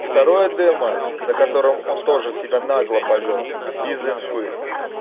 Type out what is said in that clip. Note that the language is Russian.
второе демо на котором он тоже себя нагло повёл без информации